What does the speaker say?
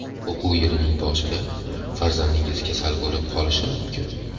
O‘quv yilining boshida farzandingiz kasal bo‘lib qolishi mumkin.